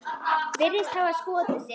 Virðist hafa skotið sig.